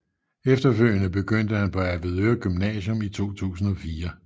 Efterfølgende begyndte han på Avedøre Gymnasium i 2004